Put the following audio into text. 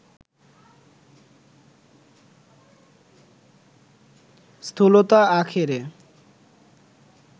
স্থূলতা আখেরে